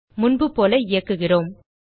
முன்புபோல இயக்குகிறோம்